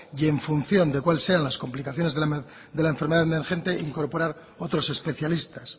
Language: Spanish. y en función de cuál sea las complicaciones de la enfermedad emergente incorporar otros especialistas